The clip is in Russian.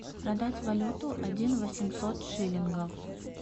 продать валюту один восемьсот шиллингов